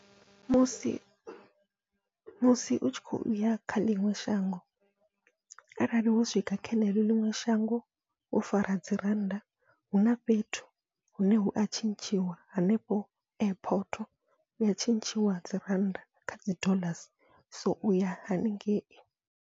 Musi musi utshi khou ya kha ḽiṅwe shango arali wo swika kha ḽeneḽo ḽiṅwe shango wo fara dzi rannda, huna fhethu hune hua tshintshiwa hanefho airport huya tshintshiwa dzi rannda khadzi dollars so uya haningei.